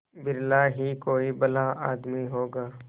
बिरला ही कोई भला आदमी होगा